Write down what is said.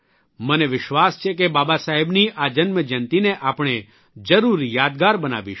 મને વિશ્વાસ છે કે બાબાસાહેબની આ જન્મજયંતિને આપણે જરૂર યાદગાર બનાવીશું